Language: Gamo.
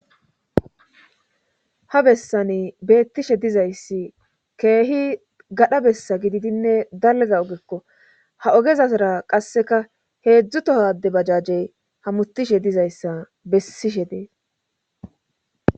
ha bessani beettishe dizayssi keehi gadha bessa gididinne dalga ogekko ha ogezasara qasseka heedzdzutohade bajajey hamutishe dizayssa bessishe dees